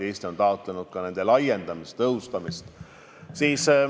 Eesti on taotlenud ka nende laiendamist ja tõhustamist.